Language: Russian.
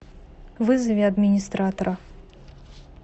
вызови администратора